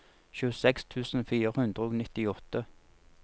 tjueseks tusen fire hundre og nittiåtte